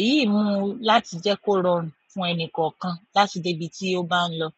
Èyí mú láti jẹ́ kó rọrùn fún ẹni kọ̀ọ̀kan láti dé ibi tí ó bá ń lọ.